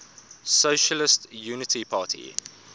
socialist unity party